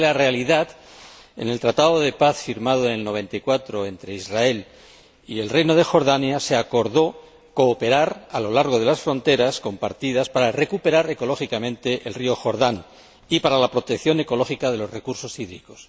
Es que, en realidad, en el Tratado de Paz firmado en el año 1994 entre Israel y el Reino de Jordania se acordó cooperar a lo largo de las fronteras compartidas para recuperar ecológicamente el río Jordán y para la protección ecológica de los recursos hídricos.